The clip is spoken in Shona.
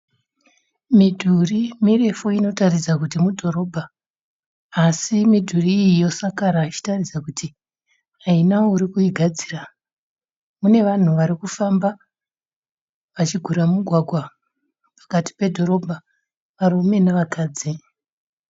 Mudhuri mirefu inotaridza kuti mudhoroba asi midhuri iyi yosakara ichitaridza kuti haina uri kuigadzira. Mune vanhu vari kufamba vachigura mugwagwa pakati pedhorobha varume nevakadzi.